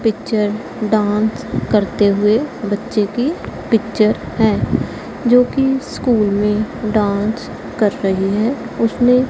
Picture dance करते हुए बच्चे की पिक्चर है जो की स्कूल में डांस कर रहे हैं। उसने--